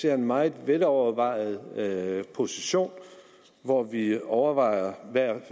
er en meget velovervejet position hvor vi overvejer hvad